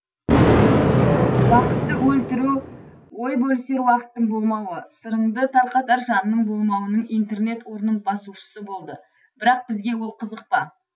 уақытты өлтіру ой бөлісер уақыттың болмауы сырыңды тарқатар жанның болмауыының интернет орнын басушысы болды бірақ бізге ол қызық па